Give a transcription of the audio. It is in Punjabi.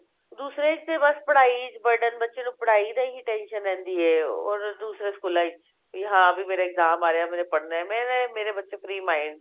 ਦੂਸਰਾ ਇਸਤੇ ਬੱਸ ਪੜ੍ਹਾਈ burden ਬੱਚੇ ਨੂੰ ਪੜ੍ਹਾਈ ਦਾ ਹੀ tension ਰਹਿੰਦੀ ਹੈ ਉਹਨਾ ਨੂੰ ਦੂਸਰੇ ਸਕੂਲਾ ਵਿੱਚ ਵੀ ਹਾ ਮੇਰਾ exam ਆ ਰਿਹਾ ਮੈਨੇ ਪੜ੍ਹਨਾ ਮੇਰੇ ਮੇਰੇ ਬੱਚੇ free mind